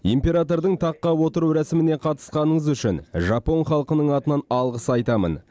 императордың таққа отыру рәсіміне қатысқаныңыз үшін жапон халқының атынан алғыс айтамын